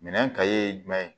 Minɛn ye jumɛn ye